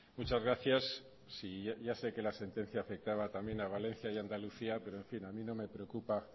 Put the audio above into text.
muchas gracias sí yo ya sé que la sentencia afectaba también a valencia y a andalucía pero en fin a mí no me preocupa